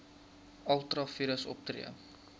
ultra vires opgetree